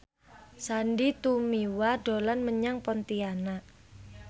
Sandy Tumiwa dolan menyang Pontianak